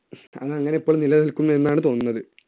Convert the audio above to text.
അത് അങ്ങനെ ഇപ്പോഴും നിലനിൽക്കുന്നു എന്നാണ് തോന്നുന്നത്.